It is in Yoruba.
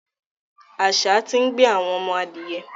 Àṣà ti ń gbé àwọn ọmọ adìyẹ.